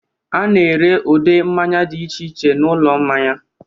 A na-ere ụdị mmanya dị iche iche n'ụlọ mmanya.